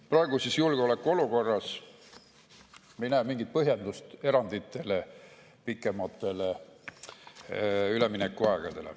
Praeguses julgeolekuolukorras me ei näe mingit põhjendust erandiks, pikemaks üleminekuajaks.